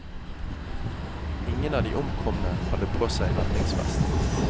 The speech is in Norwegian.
Ingen av de omkomne hadde på seg redningsvest.